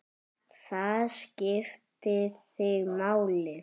Það skipti þig máli.